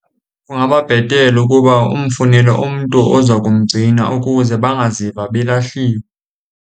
Kungaba bhetele ukuba umfunele umntu oza kumgcina ukuze bangaziva belahliwe.